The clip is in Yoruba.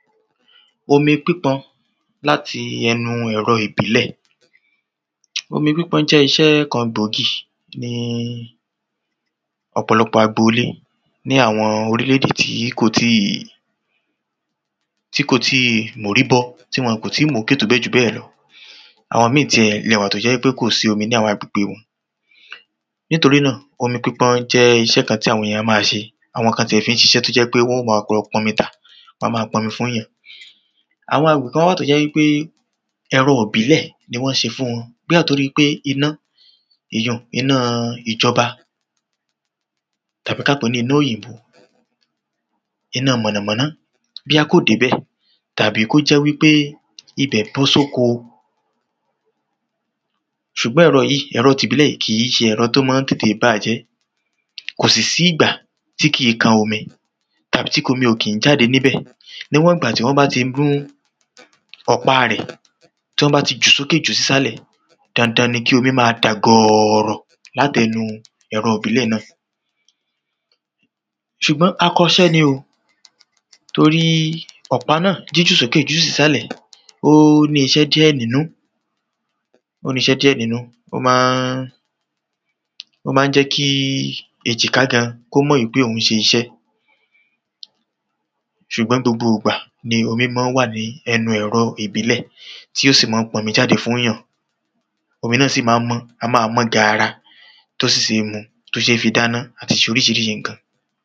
Omi pípọn láti ẹnu ẹ̀rọ ìbílẹ̀. Omi pípọn jẹ́ isẹ́ kan gbòógì ní ọ̀pọ̀lọpọ agbolé ní àwọn orílẹ̀-èdè tí kò tíì tí kò tíì móríbọ́ tí wọn kò tíì mókè tó bẹ̀ jù bẹ́ẹ̀ lọ. Àwọn míì ti ẹ̀ wà tó jẹ́ pé kò sí omi ní àwọn agbègbe wọn. Nítorí náà, omi pípọn jẹ́ iṣẹ́ kan tí àwọn èyàn ma n ṣe. Àwõ kan tiẹ̀ fi ń siṣẹ́ tó jẹ́ pé wọ́n ma pọnmi tà wọ́n ma pọnmi fún yàn. Àwọn agbègbè kán wà tó jẹ́ wípé ẹ̀rọ ìbílẹ̀ ni wọ́n ṣe fún wọn, bóya tórí pé iná èyun-ùn iná ìjọba Tàbí ká pèé ní iná òyì̃bó, iná mọ̀nàmọ́ná bóyá kò débẹ̀ tàbí kó jẹ́ wípé ibẹ̀ bọ́ sóko. S̩ùgbọ́n ẹ̀rọ yíì ẹ̀rọ tìbílẹ̀ í kìí ṣe ẹ̀rọ tó mán tètè bà jẹ́. Kò sì sí ìgbà tí kìí kan omi. Tàbí tí omi kí ń jáde níbẹ̀. Níwọ̀n ìgbà tí wọ́n bá ti ọ̀pa rẹ̀. Tọ́n bá ti jú sókè jú sísàlẹ̀, dandan ni kí omí máa dà gọ̀ọ̀rọ̀ látẹnu ẹ̀rọ ìbílẹ̀ náà. S̩ùgbọ́n akọ iṣẹ́ ni o. Torí ọ̀pá náà jíjù sókè jíjù sísàlẹ̀ ó ní iṣẹ́ díẹ̀ nínú. Ó ní ìṣẹ́ díẹ̀ nínú, ó má ń jẹ́ kí èjìká gan kó mọ̀ wípé òún ṣe iṣẹ́. S̩ùgbọ́n gbogbo ìgbà ni omí man wà ní ẹnu ẹ̀rọ ìbílẹ̀ tí ó sì mán ń pọnmi jáde fún yàn. Omi náà sì má ń mọ́, a máa mọ́ gaara. Tó sì ṣé mu tó ṣé fi dáná àti ṣe oríṣiríṣi ǹkan.